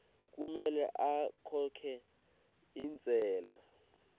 kumele akhokhe intsela